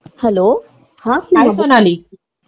हाय Sonali